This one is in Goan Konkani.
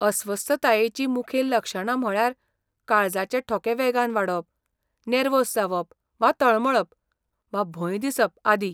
अस्वस्थतायेचीं मुखेल लक्षणां म्हळ्यार काळजाचे ठोके वेगान वाडप, नेर्वोस जावप वा तळमळप, वा भंय दिसप आदी.